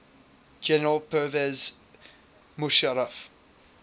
general pervez musharraf